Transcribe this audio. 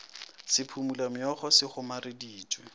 sa phumula meokgo se kgomareditšwe